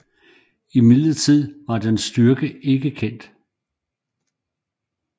Imidlertid var dens styrke ikke kendt